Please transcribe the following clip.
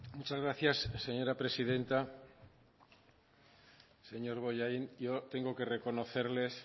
muchas gracias señora presidenta señor bollaín yo tengo que reconocerles